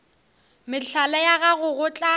mehlala ya gago go tla